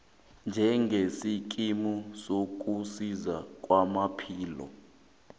njengesikimu sokusiza kwezamaphilo